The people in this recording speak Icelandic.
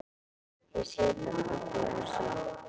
Ég sit á kaffihúsi.